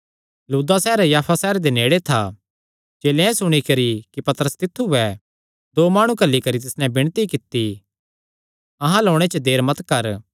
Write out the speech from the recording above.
लुद्दा सैहर याफा सैहरे दे नेड़े था चेलेयां एह़ सुणी करी कि पतरस तित्थु ऐ दो माणु घल्ली करी तिस नैं विणती कित्ती अहां अल्ल ओणे च देर मत कर